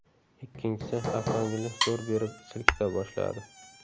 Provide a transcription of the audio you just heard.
Ikkinchisi avtomobilni zo‘r berib silkita boshladi.